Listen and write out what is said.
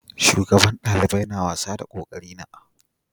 Shugaban dalibai na wasa na da kokari sosai